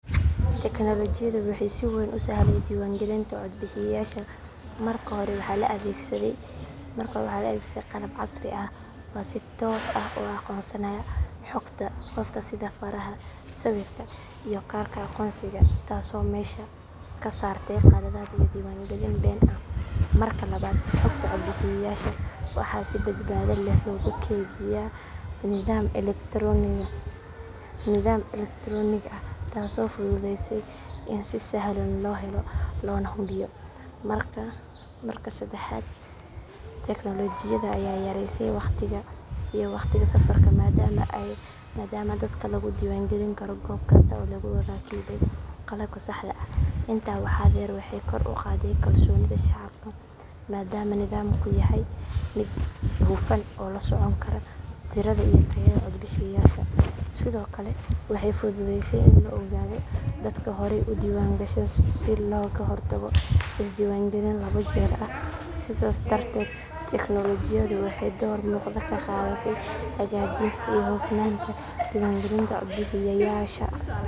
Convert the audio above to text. Teknoolojiyadu waxay si weyn u sahlay diiwaangelinta codbixiyayaasha. Marka hore, waxa la adeegsaday qalab casri ah oo si toos ah u aqoonsanaya xogta qofka sida faraha, sawirka iyo kaarka aqoonsiga taasoo meesha ka saartay khaladaad iyo diiwaangelin been ah. Marka labaad, xogta codbixiyayaasha waxa si badbaado leh loogu kaydiyaa nidaam elektaroonig ah taasoo fududeysay in si sahlan loo helo loona hubiyo. Marka saddexaad, teknoolojiyada ayaa yaraysay waqtiga iyo wakhtiga safarka maadaama dadka lagu diiwaangelin karo goob kasta oo lagu rakibay qalabka saxda ah. Intaa waxaa dheer, waxay kor u qaaday kalsoonida shacabka maadaama nidaamku yahay mid hufan oo la socon kara tirada iyo tayada codbixiyayaasha. Sidoo kale, waxay fududeysay in la ogaado dadka horey u diiwaangashan si looga hortago isdiiwaangelin laba jeer ah. Sidaas darteed, teknoolojiyadu waxay door muuqda ka qaadatay hagaajinta iyo hufnaanta diiwaangelinta codbixiyayaasha.